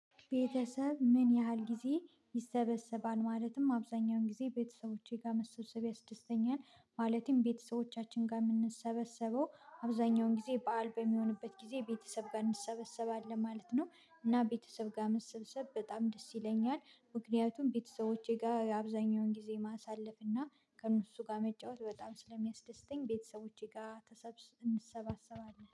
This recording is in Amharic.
ቤተሰብ ምን ያህል ጊዜ ይሰበሰባል? ማለትም አብዛኛውን ጊዜ ቤተሰቦቼ ጋር መሰብሰብ ያስደስተኛል ማለቴም ቤተሰቦቻችን ጋር የምንሰበሰበው አብዛኛውን ጊዜ በዓል በሚሆንበት ጊዜ ቤተሰብ ጋር እንሰበሰባለን ማለት ነው። እና ቤተሰብ ጋር መሰብሰብ በጣም ደስ ይለኛል። ምክንያቱም ቤተሰቦቼ ጋር አብዛኛውን ጊዜ ማሳለፍ እና ከእነሱ ጋር መጫወት በጣም ስለሚያስደስተኝ ቤተሰቦቼ ጋር እንሰባሰባለን